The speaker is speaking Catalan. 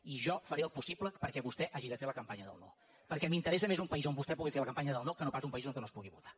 i jo faré el possible perquè vostè hagi de fer la campanya del no perquè m’interessa més un país on vostè pugui fer la campanya del no que no pas un país on no es pugui votar